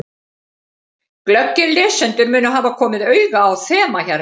Glöggir lesendur munu hafa komið auga á þema hérna.